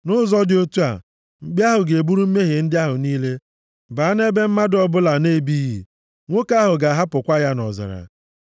Nʼụzọ dị otu a, mkpi ahụ ga-eburu mmehie ndị ahụ niile baa nʼebe mmadụ ọbụla na-ebighị. Nwoke ahụ ga-ahapụkwa ya nʼọzara.